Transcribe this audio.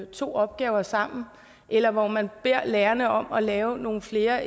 to opgaver sammen eller hvor man beder lærerne om at lave nogle flere